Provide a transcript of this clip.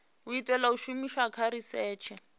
itelwa u shumiswa kha risetshe